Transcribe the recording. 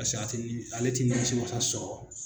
Paseke a tɛ nimi, ale t'i nimisiwasa se ma sɔrɔ.